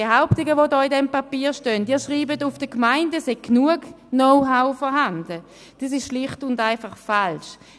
Die Behauptungen, die in diesem Papier stehen, in welchem sie schreiben, bei den Gemeinden sei genug Know-how vorhanden, sind schlicht und einfach falsch.